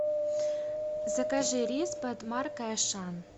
закажи рис под маркой ашан